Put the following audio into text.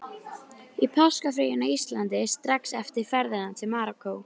Í páskafríinu á Íslandi, strax eftir ferðina til Marokkó.